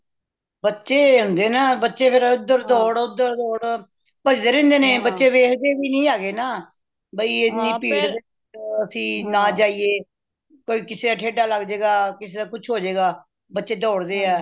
ਬੱਚੇ ਹੁੰਦੇ ਏਨਾ ਬੱਚੇ ਫੇਰ ਇਧਰ ਦੌੜ ਓਦਰ ਦੌੜ ਭੱਜਦੇ ਰਹਿੰਦੇ ਨੇ ਬੱਚੇ ਵੇਖਦੇ ਵੀ ਨਹੀਂ ਹੈਗੇ ਨਾ ਕਿ ਹਨੀ ਭੀੜ ਅਸੀਂ ਨਾ ਜਾਈਏ ਕੋਈ ਕਿਸੇ ਦਾ ਠੇਡਾ ਲੱਗ ਜੇ ਗਾ ਕਿਸੇ ਦਾ ਕੁਛ ਹੋ ਜ ਗਏ ਬੱਚੇ ਦੌੜਦੇ ਆ